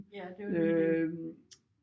Ja det jo lige det